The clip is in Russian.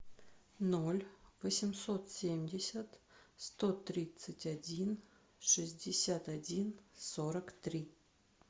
ноль восемьсот семьдесят сто тридцать один шестьдесят один сорок три